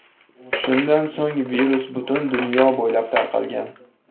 Shundan so‘ng virus butun dunyo bo‘ylab tarqalgan.